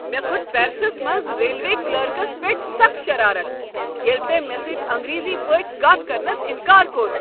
مےٚ كھوٚت پیرسس منٛز ریلوے کلرکس پیٹھ سخ شرارت ییٚلہ تٔمۍ مےٚ سۭتۍ انٛگریزی پٲٹھۍ کتھ کرنس انکار کوٚر۔